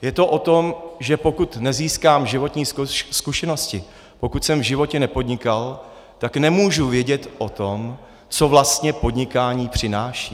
Je to o tom, že pokud nezískám životní zkušenosti, pokud jsem v životě nepodnikal, tak nemůžu vědět o tom, co vlastně podnikání přináší.